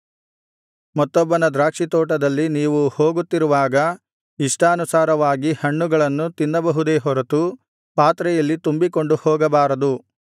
ಮತ್ತೊಬ್ಬನ ದ್ರಾಕ್ಷಿತೋಟದಲ್ಲಿ ನೀವು ಹೋಗುತ್ತಿರುವಾಗ ಇಷ್ಟಾನುಸಾರವಾಗಿ ಹಣ್ಣುಗಳನ್ನು ತಿನ್ನಬಹುದೇ ಹೊರತು ಪಾತ್ರೆಯಲ್ಲಿ ತುಂಬಿಕೊಂಡು ಹೋಗಬಾರದು